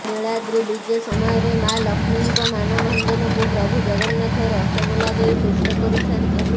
ନୀଳାଦ୍ରି ବିଜେ ସମୟରେ ମା ଲକ୍ଷ୍ମୀଙ୍କ ମାନଭଞ୍ଜନ କୁ ପ୍ରଭୁ ଜଗନ୍ନାଥ ରସଗୋଲା ଦେଇ ତୁଷ୍ଟ କରିଥାନ୍ତି